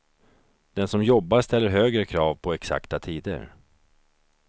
Den som jobbar ställer högre krav på exakta tider.